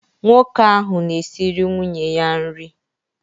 Nwoke ahụ na-esịrị nwunye ya nri.